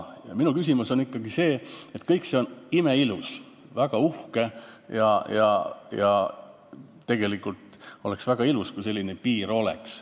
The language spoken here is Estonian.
Aga minu küsimus on ikkagi see, et kõik see on imeilus, väga uhke ja tegelikult oleks väga ilus, kui selline piir oleks.